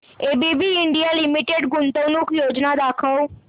ABB India limited गुंतवणूक योजना दाखव